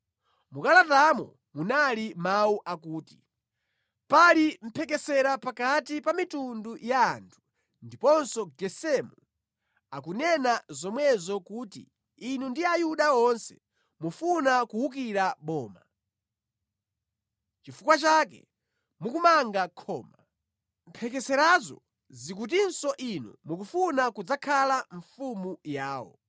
Mu kalatamo munali mawu akuti, “Pali mphekesera pakati pa mitundu ya anthu, ndiponso Gesemu akunena zomwezo kuti inu ndi Ayuda onse mufuna kuwukira boma. Nʼchifukwa chake mukumanga khoma. Mphekeserazo zikutinso inu mukufuna kudzakhala mfumu yawo.